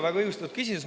Väga õigustatud küsimus.